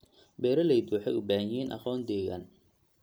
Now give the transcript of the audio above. Beeraleydu waxay u baahan yihiin aqoon deegaan.